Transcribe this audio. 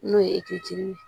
N'o ye ye